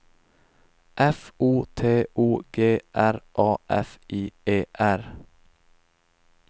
F O T O G R A F I E R